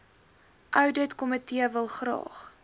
ouditkomitee wil graag